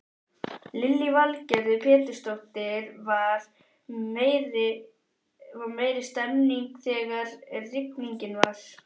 Lillý Valgerður Pétursdóttir: Var meiri stemmning þegar rigningin var?